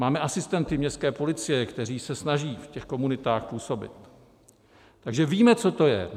Máme asistenty městské policie, kteří se snaží v těch komunitách působit, takže víme, co to je.